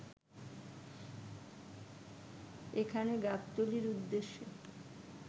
এখানে গাবতলীর উদ্দেশ্যে